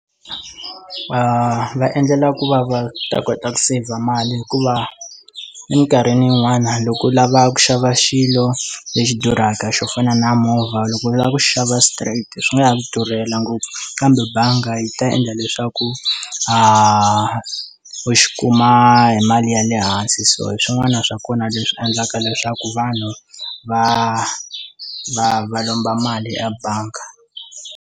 Va va endlela ku va va ta kota ku saver mali hikuva eminkarhini yin'wana loko u lava ku xava xilo lexi durhaka xo fana na movha loko u lava ku xava straight swi nga ya durhela ngopfu kambe bangi yi ta endla leswaku a u xi kuma hi mali ya le hansi so hi swin'wana swa kona leswi endlaka leswaku vanhu va va va lomba mali ebangi.